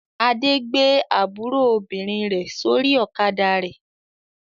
Adé gbé àbúrò obìnrin rẹ̀ sórí ọ̀kadà rẹ̀.